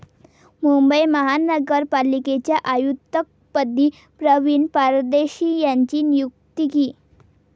मुंबई महानगरपालिकेच्या आयुक्तपदी प्रवीण परदेशी यांची नियुक्ती